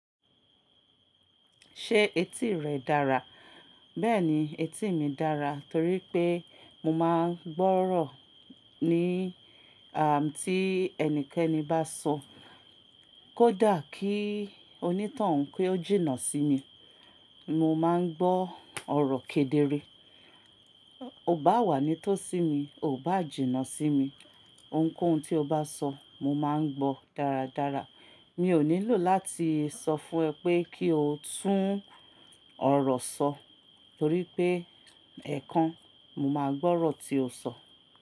Ṣé etí rẹ dára? Bẹ́ẹ̀ni, etí mi dára torí pé mo máa ń gbọ́rọ̀ ní àá tí ẹnikẹ́ni bá sọ. Kódà kí onítọun kí ó jìnnà sí mi, mo máa ń gbọ́ ọ̀rọ̀ kedere. O ò bá wà ní tó sí mi, o ò bá jìnnà sí mi, ohunkóhun tí o bá sọ, mo máa ń gbọ́ dáradára. Mi ò nílò láti sọ fún ẹ pé kí o tún ọ̀rọ̀ sọ, torí pé ẹ̀kan mo máa gbọ́rọ̀ tí o sọ.